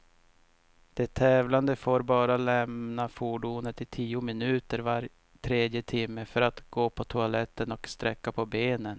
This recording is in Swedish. De tävlande får bara lämna fordonet i tio minuter var tredje timme, för att gå på toaletten och sträcka på benen.